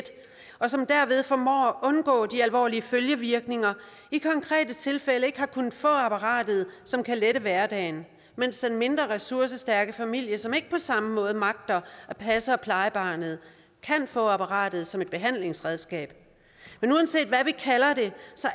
og som derved formår at undgå de alvorlige følgevirkninger i konkrete tilfælde ikke har kunnet få apparatet som kan lette hverdagen mens den mindre ressourcestærke familie som ikke på samme måde magter at passe og pleje barnet kan få apparatet som et behandlingsredskab men uanset hvad vi kalder det